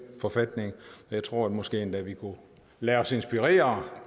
forfatninger jeg tror måske endda vi kunne lade os inspirere